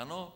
Ano?